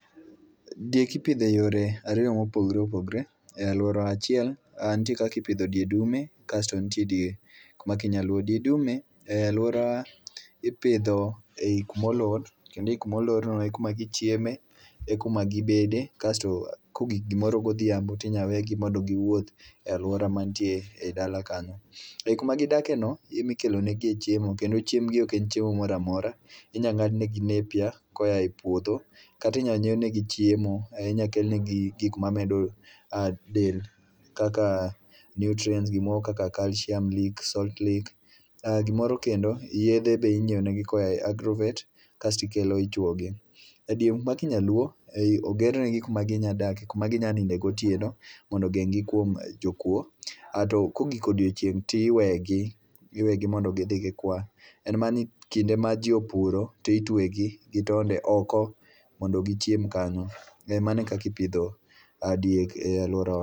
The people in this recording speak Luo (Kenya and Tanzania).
Diek ipidho eyore ariyo mopogre opogre, e alwora achiel. Ah nitie kakipidho die dume, kasto nitie diek maki nyaluo. Die dume eh alwora ipidho e i kumolor kendo ei kumolorno e kuma gichieme, e kuma gibede. Kasto kogik gimoro godhiambo tinya wegi mondo giwuothi e alwora mantie ei dala kanyo. Ei kuma gidake no emikelonegie chiemo, kendo chiemb gi ok en chiemo moramora. Inya ng'ad negi nappier koya e puodho. Katinya nyiew negi chiemo ahinya okelnegi gik ma medo ah del, kaka nutrients gimoro kaka calcium leak, salt lea. Ah gimoro kendo, yedhe be inyiewo negi koya e Agrovet kasto ikelo ichwogi. E diek meke nyaluo, ogernegi kuma ginya dake kuma ginya ninde gotiendo mondo ogeng'gi kuom jokuo. Ah to kogik odiochieng' ti iwegi, iwegi mondo gidhi gikwa. En mana ni kinde ma ji opuro to itwegi gi tonde oko mondo gichiem kanyo. Mano e kakipidho diek e alworawa.